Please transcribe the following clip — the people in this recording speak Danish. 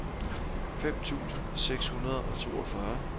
fem tusind seks hundrede og toogfyrre